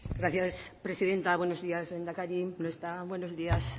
gracias señora presidenta buenos días lehendakari no está buenos días